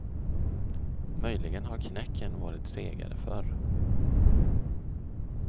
Möjligen har knäcken varit segare förr.